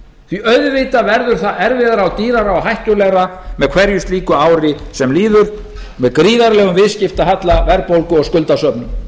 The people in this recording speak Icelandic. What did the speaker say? því auðvitað verður það erfiðara og dýrara og hættulegra með hverju slíku ári sem líður með gríðarlegum viðskiptahalla verðbólgu og skuldasöfnun